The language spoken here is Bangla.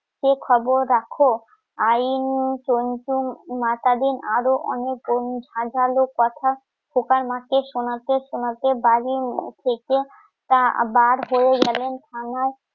কি খবর রাখো? আইন, , মাতা দিন আরো অনেক হাজার লোক কথা খোকার মাঠে শোনাতে শোনাতে তোমাকে বার হয়ে গেলেন থানায়